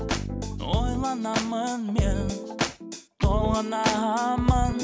ойланамын мен толғанамын